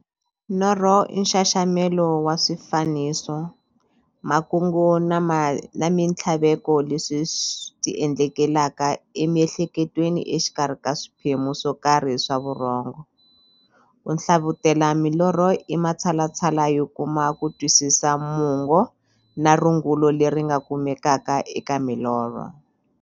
Norho i nxaxamelo wa swifaniso, makungu na minthlaveko leswi ti endlekelaka emiehleketweni exikarhi ka swiphemu swokarhi swa vurhongo. Ku hlavutela milorho i matshalatshala yo kuma kutwisisa mungo na rungula leri nga kumekaka eka milorho.